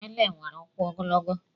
Ele nwere ụkwụ ogologo.